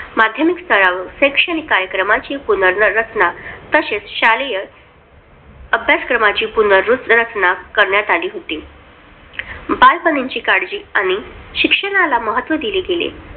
माध्यमिक स्तरावर शैक्षणिक कार्यक्रमांची पुनर्रचना. तसेच, शालेय अभ्यासक्रमाची पुनर्रचना करण्याची करण्यात आली होती. बालपणीची काळजी आणि शिक्षणाला महत्त्व दिले गेले.